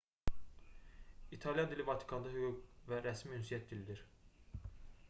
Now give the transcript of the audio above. i̇talyan dili vatikanda hüquq və rəsmi ünsiyyət dilidir